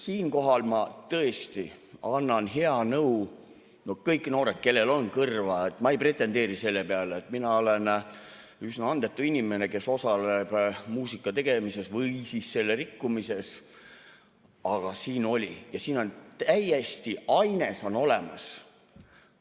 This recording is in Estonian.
Siinkohal ma tõesti annan head nõu: kõik noored, kellel on kõrva – mina ei pretendeeri sellele, mina olen üsna andetu inimene, kes osaleb muusika tegemises või siis selle rikkumises –, siin oli ja on täiesti aines olemas.